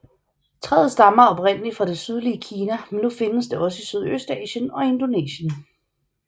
Træet stammer oprindeligt fra det sydlige Kina men nu findes det også i Sydøstasien og Indonesien